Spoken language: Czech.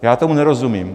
Já tomu nerozumím.